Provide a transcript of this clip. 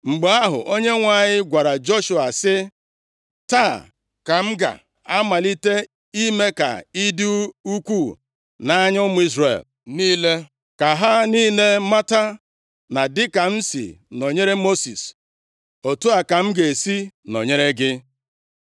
Mgbe ahụ, Onyenwe anyị gwara Joshua sị, “Taa, ka m ga-amalite ime ka ị dị ukwuu nʼanya ụmụ Izrel niile, ka ha niile mata na dịka m si nọnyere Mosis, otu a ka m ga-esi nọnyere gị.